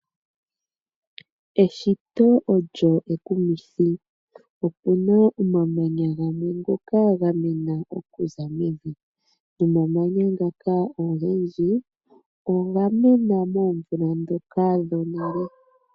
Eshito olyo ekumithi okuna omamanya gamwe ngoka ga mena okuza mevi nomammanya ngoka ogendji oga mena moomvula dhoka dhonale.